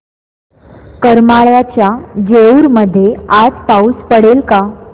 करमाळ्याच्या जेऊर मध्ये आज पाऊस पडेल का